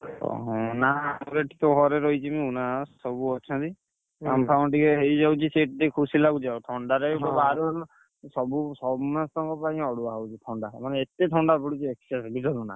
ଓହୋ ନା ଆମର ଏଠି ତ ଘରେ ରହିଛି ମୁଁ ନା ସବୁ ଅଛନ୍ତି, କାମ ଫାମ ଟିକେ ହେଇଯାଉଛି ସେଇଟା ଟିକେ ଖୁସି ଲାଗୁଛି ଆଉ ଥଣ୍ଡାରେ ବି ବାହାରି ହଉନି। ସବୁ ସମସ୍ତକଣ ପାଇଁ ଅଡୁଆ ହଉଛି ଥଣ୍ଡା ମାନେ ଏତେ ଥଣ୍ଡା ପଡୁଛି excess ବୁଝିପାରୁଛ ନା।